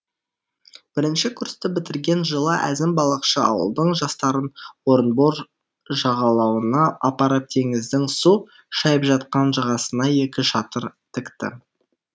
бірінші курсты бітірген жылы әзім балықшы ауылдың жастарын орынбор жағалауына апарып теңіздің су шайып жатқан жағасына екі шатыр тікті